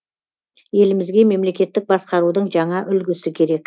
елімізге мемлекеттік басқарудың жаңа үлгісі керек